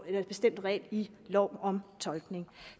en bestemt regel i loven om tolkning